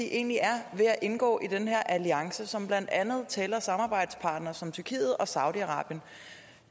egentlig er ved at indgå i den her alliance som blandt andet tæller samarbejdspartnere som tyrkiet og saudi arabien